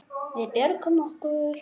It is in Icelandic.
Við björgum okkur.